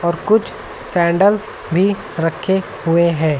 और कुछ सैंडल भी रखे हुए हैं।